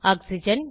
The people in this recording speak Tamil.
ஆக்சிஜன்